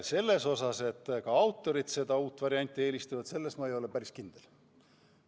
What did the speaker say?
Selles, et ka autorid seda uut varianti eelistavad, ma ei ole päris kindel.